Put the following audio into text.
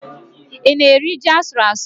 Ị na-eri ji asụrụ asụ?